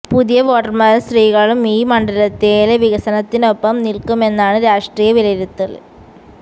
പുതിയ വോട്ടര്മാരും സ്ത്രീകളും ഈ മണ്ഡലയത്തില് വികസനത്തിനൊപ്പം നില്ക്കുമെന്നാണ് രാഷ്ട്രീയ വിലയിരുത്തല്